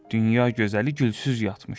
Dünya gözəli gülsüz yatmış idi.